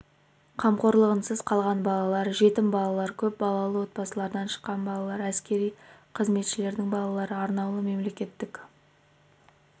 қамқорлығынсыз қалған балалар жетім балалар көп балалы отбасылардан шыққан балалар әскери қызметшілердің балалары арнаулы мемлекеттік